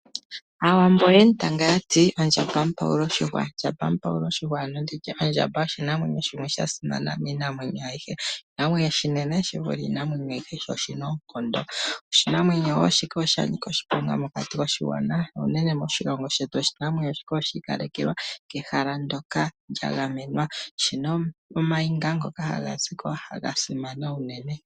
Aawambo oye mu tanga ya ti:"Ndjamba mupawula oshihwa." Ndjamba mupawula oshihwa nenge ondjamba oyo oshinamwenyo sha simana miinamwenyo ayihe. Oshinamwenyo oshinene shi vule iinamwenyo ayihe noshi na oonkondo. Oshinamwenyo shika osha nika oshiponga mokati koshigwana. Moshilongo shetu oshinamwenyo shika oshinamwenyo shi ikalekelwa kehala ndyoka lya gamenwa. Oshi na omayego ngoka haga kuthwa ko noga simana unene.